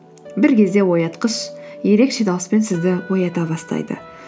бір кезде оятқыш ерекше дауыспен сізді оята бастайды